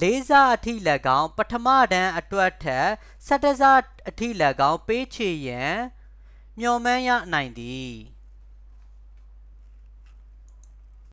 လေးဆအထိလည်းကောင်း၊ပထမတန်းအတွက်ထက် ၁၁ ဆအထိလည်းကောင်း ပေးချေရန် မျှော်မှန်းရနိုင်သည်။